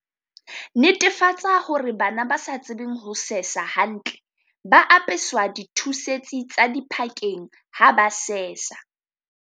Netefatsa hore bana ba sa tsebeng ho sesa hantle ba apeswa di thusetsi tsa diphakeng ha ba sesa.